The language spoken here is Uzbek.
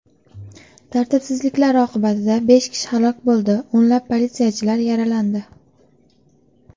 Tartibsizliklar oqibatida besh kishi halok bo‘ldi, o‘nlab politsiyachilar yaralandi.